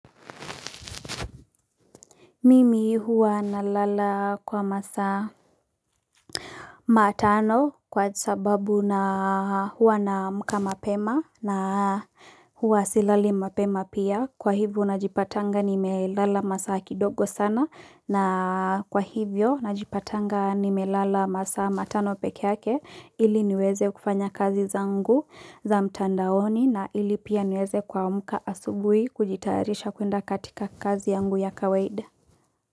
Mimi hua na lala kwa masaa matano kwa sababu na hua na amka mapema na hua silali mapema pia. Kwa hivyo na jipatanga nimelala masaa kidogo sana, na kwa hivyo na jipatanga nimelala masaa matano peke yake ili niweze kufanya kazi zangu za mtandaoni na ili pia niweze kuamka asubuhi kujitarisha kuenda katika kazi yangu ya kawaida.